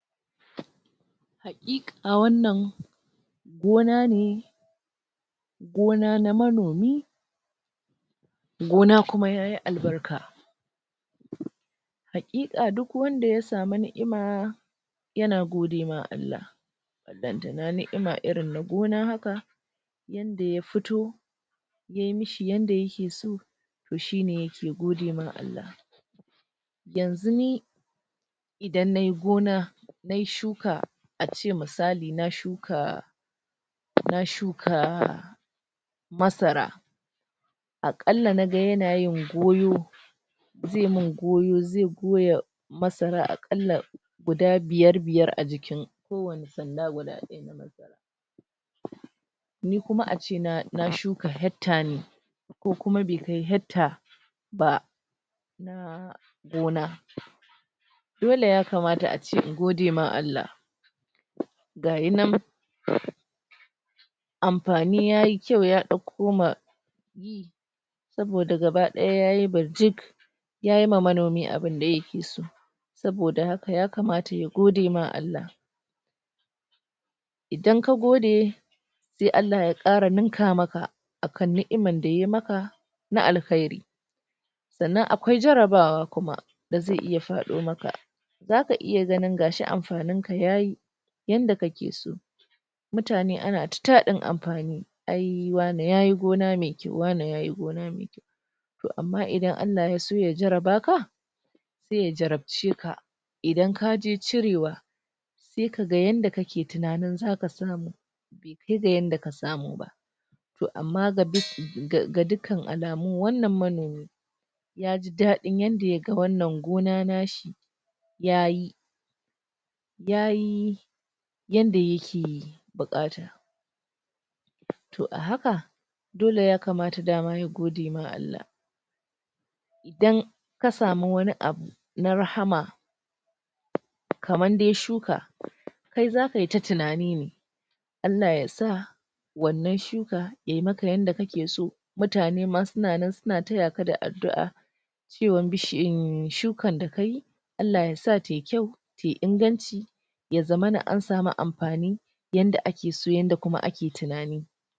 Hakiki wanna gona ne gona na manomi gona kuma yayi albarka hakika duk wanda ya samu ni'ima yana gode ma Allah balantana ni'ima irin na gona haka yadda ya fito yayi me shi yadda yake so toh shi ne yake gode wa Allah yanzu ne idan nayi gona nayi shuka, a ce misali na shuka na shuka masara a kalla na ga yana yin goyo ze mun goyo, ze goya masara a kalla guda biyar biyar a jikin ko wanni sanda guda daya na masarani kuma a ce na shuka hectare ne ko kuma be kai hectare ba na gona dole ya kamata a ce in gode ma Allah ga yi nan anfani yayi kyau ya dauko ma saboda gabadaya yayi barjik yayi wa manomi abun da yake so saboda haka ya kamata ya gode wa Allah idan ka gode sai Allah ya kara ninka maka a kan ni'man da ya maka na al'kairi sannan akwai jarabawa kuma da ze iya fado maka zaka iya ganin gashi amfanin ka yayi yadda kake so mutane ana ta tadin amfani ai wane yayi gona me kyau, wane yayi goma mai kyau toh amma in Allah ya so ya jaraba ka sai ya jarabce ka idan ka je cirewa sai ka ga yadda kake tunani zaka samu be kai da yanda ka samu ba toh amma ga dukkan al'amun, wannan manomi yaji dadi yadda ya ga wannan gona nashi yayi yayi yadda yake bukata toh a haka dole ya kamata daman ya gode ma Allah idan ka samu wani abu na rahama kaman dai shuka kai zaka yi ta tunani ne Allah ya sa wannan shuka yayi maka yadda kake so mutane ma su na nan suna taya ka da adu'a cewan um shukan da kayi Allah yasa tayi kyau, tayi inganci ya zamana an samu amfani yanda ake so, kuma yanda ake tunani.